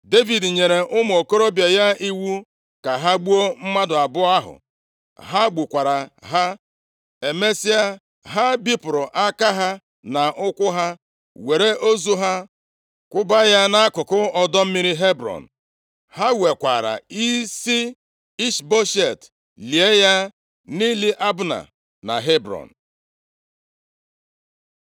Devid nyere ụmụ okorobịa ya iwu ka ha gbuo mmadụ abụọ ahụ. Ha gbukwara ha. Emesịa, ha bipụrụ aka ha na ụkwụ ha. Were ozu ha kwụba ya nʼakụkụ ọdọ mmiri Hebrọn. Ha wekwaara isi Ishboshet, lie ya nʼili Abna na Hebrọn.